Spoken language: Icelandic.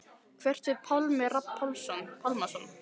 Hvert fer Pálmi Rafn Pálmason?